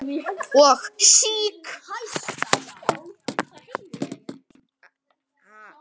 og SÍK.